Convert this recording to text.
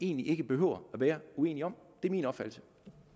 egentlig ikke behøver at være uenige om det er min opfattelse